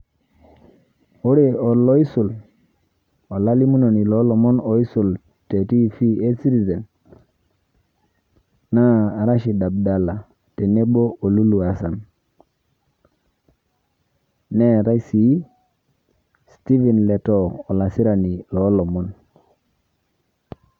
Ore oloisul, olalimunoni loo lomon oisul te TV e Citizen naa Rashid Abdalla tenebo o Lulu Hassan neetai sii Stephen Letoo olasirani loo lomon.